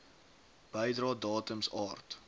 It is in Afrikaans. bedrae datums aard